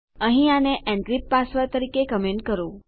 અહીં આને encrypt password તરીકે કમેન્ટ કરો